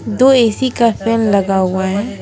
दो ए_सी का फैन लगा हुआ है।